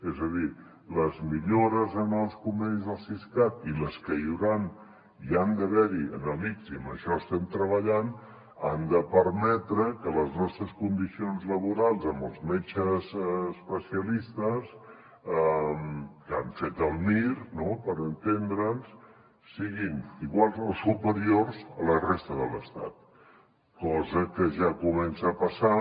és a dir les millores en els convenis del siscat i les que hi hauran i han d’haver en l’ics i en això estem treballant han de permetre que les nostres condicions laborals amb els metges especialistes que han fet el mir per entendre’ns siguin iguals o superiors als de la resta de l’estat cosa que ja comença a passar